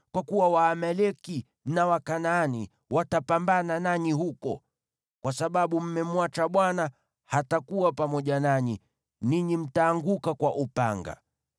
kwa kuwa Waamaleki na Wakanaani watapambana nanyi huko. Kwa sababu mmemwacha Bwana , hatakuwa pamoja nanyi, ninyi mtaanguka kwa upanga.”